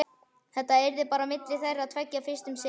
Þetta yrði bara á milli þeirra tveggja fyrst um sinn.